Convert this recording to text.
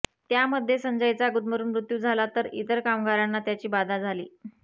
त्यामध्ये संजयचा गुदमरून मृत्यू झाला तर इतर कामगारांना त्याची बाधा झाली